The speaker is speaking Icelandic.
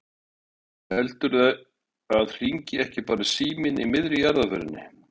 Og heldurðu að hringi ekki bara síminn í miðri jarðarförinni?